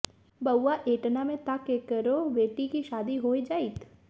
बउआ एतना में त केकरो बेटी के शादी हो जाइत